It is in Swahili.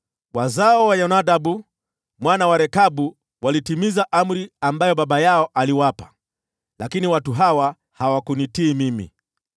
Wazao wa Yonadabu mwana wa Rekabu walitimiza amri ambayo baba yao aliwapa, lakini watu hawa hawakunitii mimi.’